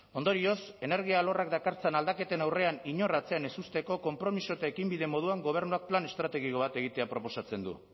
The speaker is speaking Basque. ondorioz energia alorrak dakartzan aldaketen aurrean inor atzean ez uzteko konpromiso eta ekinbide moduan gobernuak plan estrategiko bat egitea proposatzen du